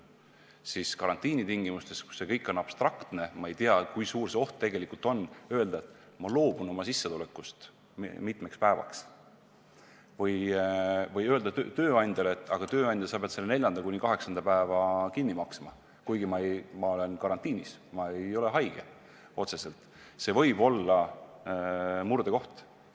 Seevastu karantiinitingimustes, kus kõik on abstraktne, me ei tea, kui suur see oht tegelikult on, öelda, et ma loobun oma sissetulekust mitmeks päevaks, või öelda tööandjale, et sa pead 4.–8. päeva mulle kinni maksma, kuigi ma olen karantiinis ega ole otseselt haige – see võib olla murdekoht.